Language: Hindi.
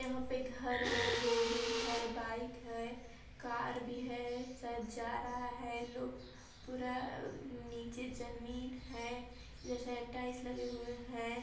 यहाँ पे घर है बिल्डिंग है बाइक है कार भी है शायद जा रहा है लुक पूरा नीचे जमीन हैजैसे टाइल्स लगे हुए हैं।